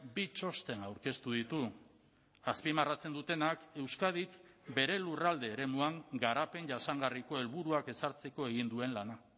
bi txosten aurkeztu ditu azpimarratzen dutenak euskadik bere lurralde eremuan garapen jasangarriko helburuak ezartzeko egin duen lana